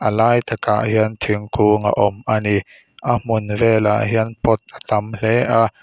a lai takah hian thingkung a awm ani a hmun velah hian pot a tam hle a.